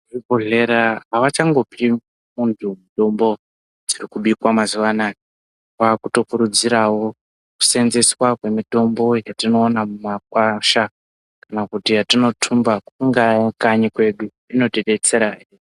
Muchibhedhlera avachangopi muntu mitombo dzirikubikwa mazuwa anaa. Vaakutokurudzirawo kuseenzeswa kwemitombo yatinowana kumakwasha kana kuti yatinothumba kungaa kanyi kwedu inotidetsera.